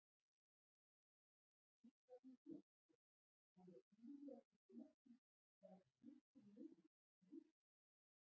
Við hverju býst fólk, að ég bíði eftir snertingu, verð klipptur niður og meiðist?